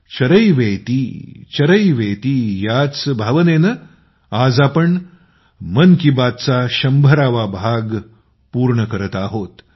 चरैवेती चरैवेती याच भावनेने आज आम्ही मन की बातचा 100 वा भाग पूर्ण करत आहोत